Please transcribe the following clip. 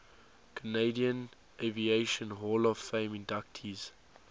canadian aviation hall of fame inductees